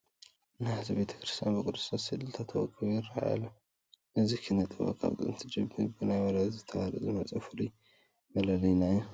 ናሕሲ ቤተ ክርስቲያን ብቅዱሳን ስእልታት ወቂቡ ይርአ ኣሎ፡፡ እዚ ኪነ ጥበብ ካብ ጥንቲ ጀሚሩ ብናይ ወለዶ ተዋረድ ዝመፀ ፍሉይ መለለዪና እዩ፡፡